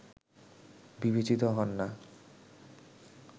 বিবেচিত হন না